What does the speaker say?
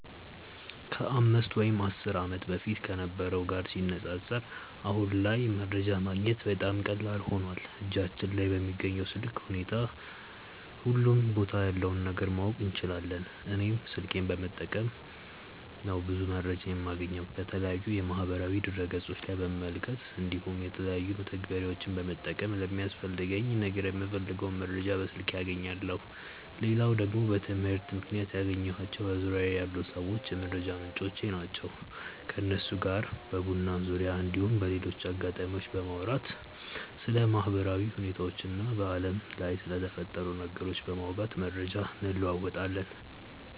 ከ 5 ወይም 10 ዓመት በፊት ከነበረው ጋር ሲነጻጸር አሁን ላይ መረጃ ማግኘት በጣም ቀላል ሆኖዋል እጃችን ላይ በሚገኝ ስልክ ሁሉም ቦታ ያለውን ነገር ማወቅ እንችላለን። እኔም ስልኬን በመጠቀም ነው ብዙ መረጃዎችን የማገኘው። ከተለያዩ የማህበራዊ ድረ ገፆች ላይ በመመልከት እንዲሁም የተለያዩ መተግበሪያዎችን በመጠቀም ለሚያስፈልገኝ ነገር የምፈልገውን መረጃ በስልኬ አገኛለው። ሌላው ደግሞ በትምህርት ምክንያት ያገኘኳቸው በዙርያዬ ያሉ ሰዎች የመረጃ ምንጮቼ ናቸው። ከነሱ ጋር በቡና ዙርያ እንዲሁም በሌሎች አጋጣሚዎች በማውራት ስለ ማህበራዊ ሁኔታዎች እና በአለም ላይ ስለተፈጠሩ ነገሮች በማውጋት መረጃ እንለወጣለን።